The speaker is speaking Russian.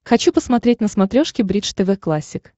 хочу посмотреть на смотрешке бридж тв классик